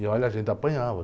E olha, a gente apanhava